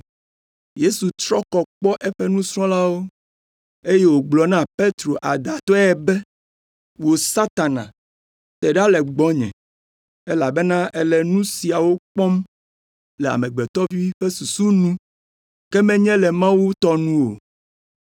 Yesu trɔ kɔ kpɔ eƒe nusrɔ̃lawo, eye wògblɔ na Petro adãtɔe be, “Wò Satana, te ɖa le gbɔnye elabena èle nu siawo kpɔm le amegbetɔ ƒe susu nu, ke menye le Mawu tɔ nu o.”